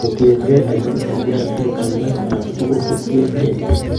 Kotienkeey ainon en DRD, taakunet alak tugul kotien keey.